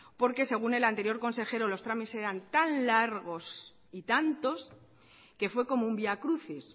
porque según el anterior consejero los trámites eran tan largos y tantos que fue como un vía crucis